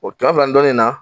O kɛmɛ fila ni dɔɔnin na.